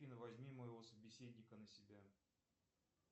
афина возьми моего собеседника на себя